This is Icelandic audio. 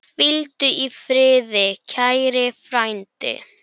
Hvíldu í friði, kæri frændi.